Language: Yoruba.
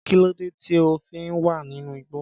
Kí ló dé tí o fi wà nínú igbó?